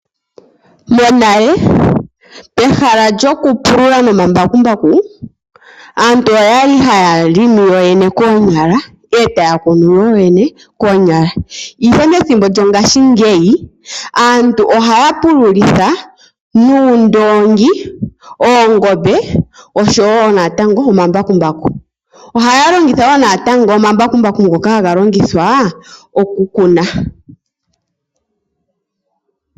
Monale pehala lyokupulula nomambakumbaku aantu oya li haya limi koonyala, e taya kunu yoyene koonyala, ihe methimbo lyongashingeyi aantu ohaya pululitha oondoongi, oongombe oshowo natango omambakumbaku. Ohaya longitha wo natango omambakumbaku ngoka haga longithwa okukuna.